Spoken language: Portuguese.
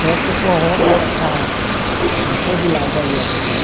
Só que o forró está está por todo lado aí agora, né?